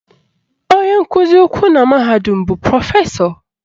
Onye nkụzi ukwu na mahadum bụ Prọfesọ